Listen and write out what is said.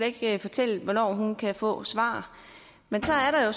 ikke fortælle hvornår hun kan få svar men så er der jo